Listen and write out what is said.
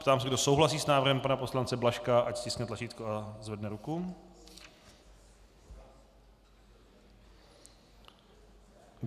Ptám se, kdo souhlasí s návrhem pana poslance Blažka, ať stiskne tlačítko a zvedne ruku.